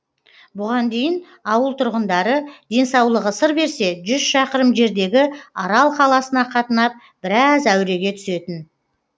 бұған дейін ауыл тұрғындары денсаулығы сыр берсе жүз шақырым жердегі арал қаласына қатынап біраз әуреге түсетін